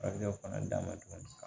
A bɛ o fana d'a ma tuguni